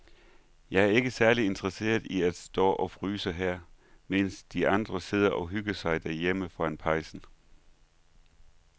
Jeg er ikke særlig interesseret i at stå og fryse her, mens de andre sidder og hygger sig derhjemme foran pejsen.